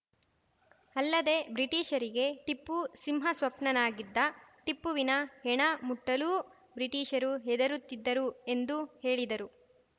ಅಲ್ಲದೆ ಬ್ರಿಟಿಷರಿಗೆ ಟಿಪ್ಪು ಸಿಂಹ ಸ್ಪಪ್ನನಾಗಿದ್ದ ಟಿಪ್ಪುವಿನ ಹೆಣ ಮುಟ್ಟಲೂ ಬ್ರಿಟೀಷರು ಹೆದರುತ್ತಿದ್ದರು ಎಂದು ಹೇಳಿದರು